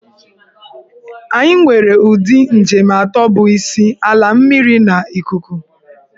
Anyị nwere ụdị njem atọ bụ isi - Ala, mmiri na ikuku.